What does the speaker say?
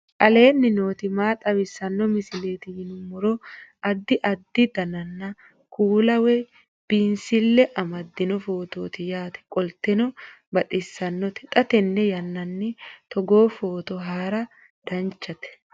aleenni nooti maa xawisanno misileeti yinummoro addi addi dananna kuula woy biinsille amaddino footooti yaate qoltenno baxissannote xa tenne yannanni togoo footo haara danvchate